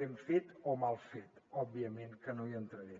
ben fet o mal fet òbviament que no hi entraré